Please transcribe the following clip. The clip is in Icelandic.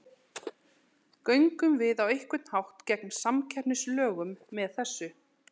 Göngum við á einhvern hátt gegn samkeppnislögum með þessu?